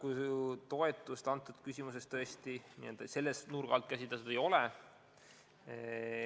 Jah, toimetulekutoetust tõesti selle nurga alt käsitletud ei ole.